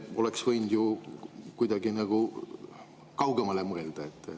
Oleks võinud ju kuidagi kaugemale mõelda.